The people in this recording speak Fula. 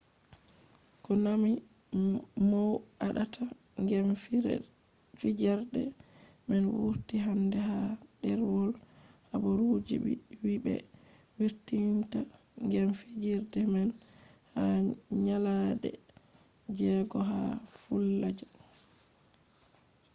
konami mow aɗata gem fijerde man wurti hande ha ɗerwol habaru wii ɓe wurtinta gem fijerde man ha nyalaɗe jego ha falluja